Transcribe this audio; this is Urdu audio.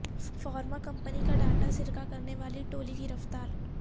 فارما کمپنی کا ڈاٹا سرقہ کرنے والی ٹولی گرفتار